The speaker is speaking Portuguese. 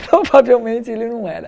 Provavelmente ele não era.